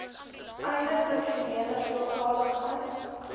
einde funksionele veeltaligheid